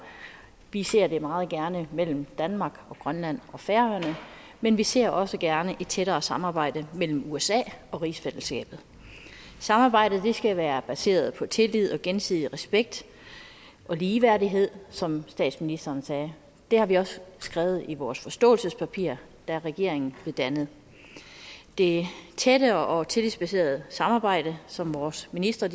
vi ser det meget gerne mellem danmark grønland og færøerne men vi ser også gerne et tættere samarbejde mellem usa og rigsfællesskabet samarbejdet skal være baseret på tillid og gensidig respekt og ligeværdighed som statsministeren sagde det har vi også skrevet i vores forståelsespapir da regeringen blev dannet det tætte og tillidsbaserede samarbejde som vores ministre